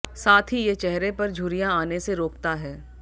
साथ ही ये चेहरे पर झुर्रियां आने से रोकता है